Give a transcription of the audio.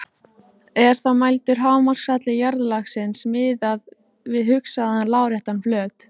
Er þá mældur hámarkshalli jarðlagsins miðað við hugsaðan láréttan flöt.